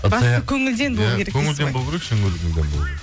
бастысы көңілден болу керек көңілден болу керек шын көңілден